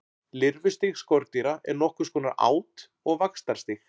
Lirfustig skordýra er nokkurs konar át- og vaxtarstig.